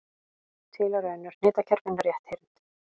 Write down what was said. Til eru önnur hnitakerfi en rétthyrnd.